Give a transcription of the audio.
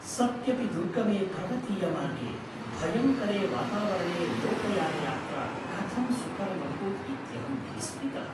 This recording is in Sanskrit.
सत्यपि दुर्गमे पर्वतीयमार्गे, भयङ्करे वातावरणे लोकयानयात्रा कथं सुकरमभूत् इत्यहम् विस्मितः।